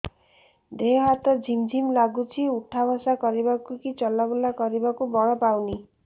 ଦେହେ ହାତ ଝିମ୍ ଝିମ୍ ଲାଗୁଚି ଉଠା ବସା କରିବାକୁ କି ଚଲା ବୁଲା କରିବାକୁ ବଳ ପାଉନି